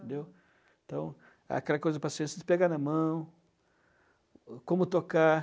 Entendeu? Então, aquela coisa de paciência, de pegar na mão, como tocar.